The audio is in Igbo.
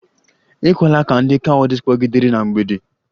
Ekwela ka ndị cowries kpọgidere na mgbidi!